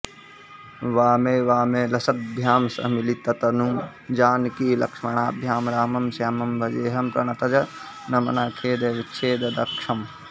वामेऽवामे लसद्भ्यां सह मिलिततनुं जानकीलक्ष्मणाभ्यां रामं श्यामं भजेऽहं प्रणतजनमनःखेदविच्छेददक्षम्